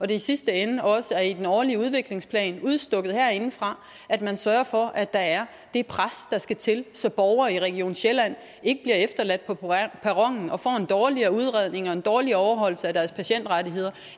det i sidste ende også er i den årlige udviklingsplan udstukket herindefra at man sørger for at der er det pres der skal til så borgere i region sjælland ikke bliver efterladt på perronen og får en dårligere udredning og en dårligere overholdelse af deres patientrettigheder